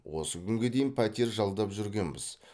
осы күнге дейін пәтер жалдап жүргенбіз